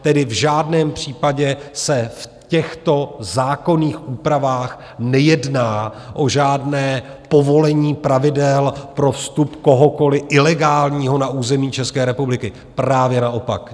Tedy v žádném případě se v těchto zákonných úpravách nejedná o žádné povolení pravidel pro vstup kohokoli ilegálního na území České republiky, právě naopak.